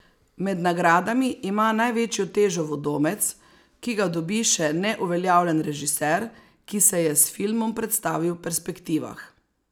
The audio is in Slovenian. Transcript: Med nagradami ima največjo težo vodomec, ki ga dobi še neuveljavljen režiser, ki se je s filmom predstavil Perspektivah.